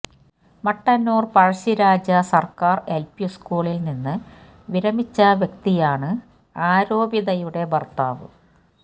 മട്ടന്നൂർ പഴശ്ശരാജ സർക്കാർ എൽപി സ്കൂളിൽ നിന്ന് വിരമിച്ച വ്യക്തിയാണ് ആരോപിതയുടെ ഭർത്താവ്